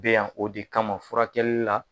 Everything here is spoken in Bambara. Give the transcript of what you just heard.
Bɛ yan o de kama furakɛkɛlila.